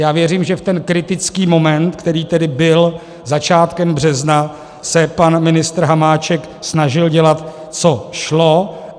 Já věřím, že v ten kritický moment, který tedy byl začátkem března, se pan ministr Hamáček snažil dělat, co šlo.